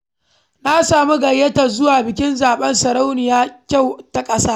Na samu gayyatar zuwa bikin zaɓen sarauniyar kyau ta ƙasa.